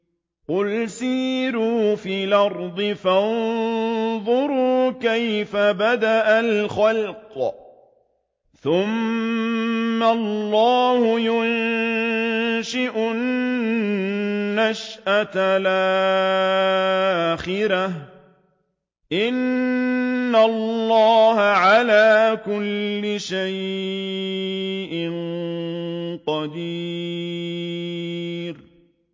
قُلْ سِيرُوا فِي الْأَرْضِ فَانظُرُوا كَيْفَ بَدَأَ الْخَلْقَ ۚ ثُمَّ اللَّهُ يُنشِئُ النَّشْأَةَ الْآخِرَةَ ۚ إِنَّ اللَّهَ عَلَىٰ كُلِّ شَيْءٍ قَدِيرٌ